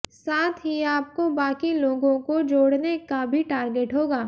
साथ ही आपको बाकी लोगों को जोड़ने का भी टार्गेट होगा